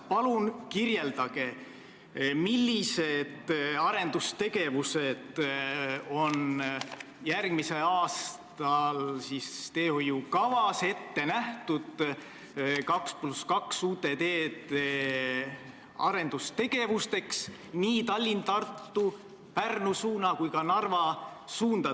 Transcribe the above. Palun kirjeldage, millised arendustegevused on järgmisel aastal teehoiukavas ette nähtud uute 2 + 2 teelõikude arendamiseks nii Tallinna–Tartu, Pärnu kui ka Narva suunal.